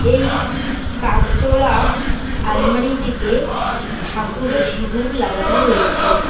এই কাচওয়ালা আলমারিটিতে ঠাকুরের সিঁদুর লাগানো রয়েছে।